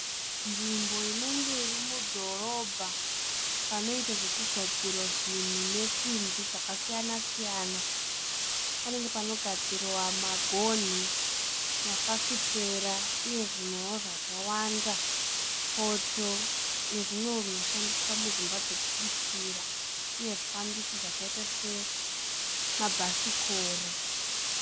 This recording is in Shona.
Nzvimbo inenge iri mudhorobha panoita zvokugadzira zvinhu nesimbi dzakasiyana- siyana. Panenge panogadzirwa magoni, mafafititera uye zvimwewo zvakawanda, poto nezvimwewo zvinoshandiswa mudzimba dzokubikira uye zvifambiso zvakaita semabhasikoro.